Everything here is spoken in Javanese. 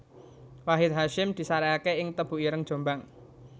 Wahid Hasyim disareke ing Tebuireng Jombang